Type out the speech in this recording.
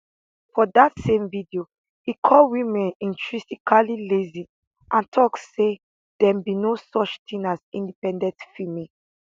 for dat same video e call women intrinsically lazy and tok say dem be no such tin as independent female